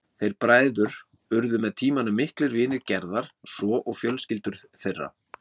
Þeir bræður urðu með tímanum miklir vinir Gerðar svo og fjölskyldur þeirra.